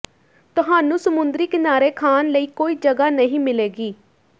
ਤੁਹਾਨੂੰ ਸਮੁੰਦਰੀ ਕਿਨਾਰੇ ਖਾਣ ਲਈ ਕੋਈ ਜਗ੍ਹਾ ਨਹੀਂ ਮਿਲੇਗੀ